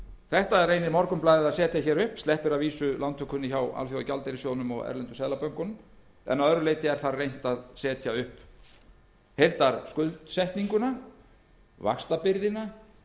þetta reynir morgunblaðið að setja upp en sleppir að vísu lántökunni hjá alþjóðagjaldeyrissjóðnum og erlendu seðlabönkunum að öðru leyti er þar reynt að setja upp heildarskuldsetninguna vaxtabyrðina